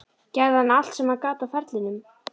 Gerði hann allt sem hann gat á ferlinum?